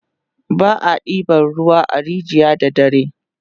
ba a ɗeban ruwa a rijiya da dare